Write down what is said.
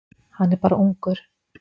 Hann er bara ungur.